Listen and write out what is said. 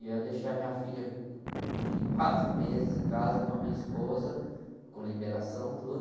E aí eu deixei a minha filha, de quatro meses em casa com a minha esposa, com liberação e tudo.